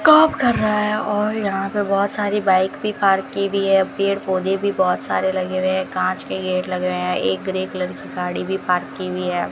काम कर रहा है और यहां पे बहोत सारी बाइक भी पार्क की हुई है पेड़-पौधे भी बहोत सारे लगे हुए हैं कांच के गेट लगे हुए हैं एक ग्रे कलर की गाड़ी भी पार्क की हुई है।